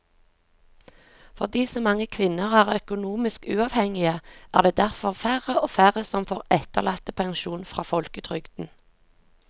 Fordi så mange kvinner er økonomisk uavhengige er det derfor færre og færre som får etterlattepensjon fra folketrygden.